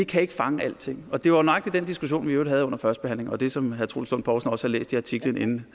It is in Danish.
kan ikke fange alting det var nøjagtig den diskussion vi i øvrigt havde under førstebehandlingen og det samme som herre troels lund poulsen også havde læst i artiklen inden